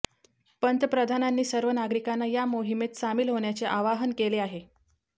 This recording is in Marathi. पंतप्रधानांनी सर्व नागरिकांना या मोहिमेत सामील होण्याचे आवाहन केले आहे